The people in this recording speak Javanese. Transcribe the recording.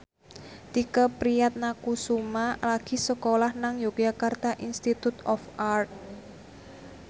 Tike Priatnakusuma lagi sekolah nang Yogyakarta Institute of Art